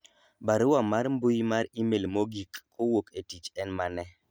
barua mar mbui mar email mogik kowuok e tich en mane